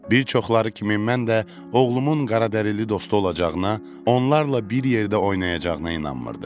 Bir çoxları kimi mən də oğlumun qaradərili dostu olacağına, onlarla bir yerdə oynayacağına inanmırdım.